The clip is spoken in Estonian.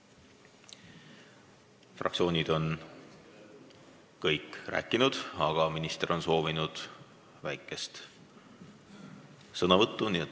Kõik fraktsioonid on rääkinud, aga minister on soovinud väikest sõnavõttu.